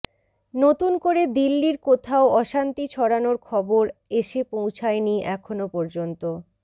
নতুন করে দিল্লির কোথাও অশান্তি ছড়ানোর খবর এসে পৌছায়নি এখনও পর্যন্ত